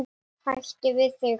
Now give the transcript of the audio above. Hætt við þig.